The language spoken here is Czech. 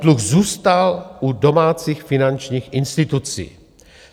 Dluh zůstal u domácích finančních institucí.